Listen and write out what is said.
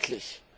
Schrecklich!